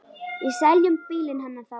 Við seljum bílinn hennar þá.